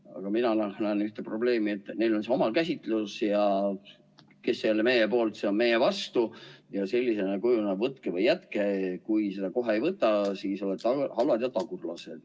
Aga mina näen siin ühte probleemi, seda, et neil on oma käsitlus, ja seda, et kes ei ole meie poolt, see on meie vastu, sellisena see kujuneb, et võtke või jätke, ja kui te seda kohe ei võta, siis olete halvad ja tagurlased.